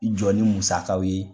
I jɔ ni musakaw ye